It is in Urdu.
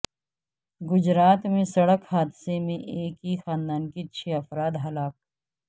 گجرات میں سڑک حادثے میں ایک ہی خاندان کے چھ افراد ہلاک